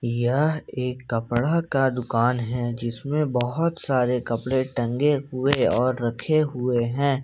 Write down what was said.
यह एक कपड़ा का दुकान है जिसमें बहुत सारे कपड़े टंगे हुए और रखे हुए हैं।